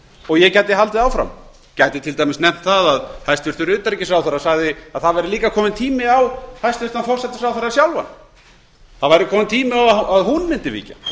og ég gæti haldið áfram gæti til dæmis nefnt það að hæstvirtur utanríkisráðherra sagði að það væri líka kominn tími á hæstvirtan forsætisráðherra sjálfan það væri kominn tími á að hún mundi víkja